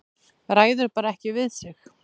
Ræður bara ekki við sig.